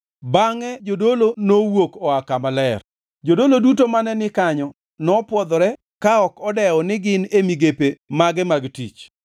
Bangʼe jodolo bangʼe nowuok oa Kama Ler. Jodolo duto mane ni kanyo nopwodhore ka ok odewo ni gin e migepe mage mag tich.